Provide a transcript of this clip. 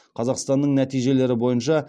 қазақстанның нәтижелері бойынша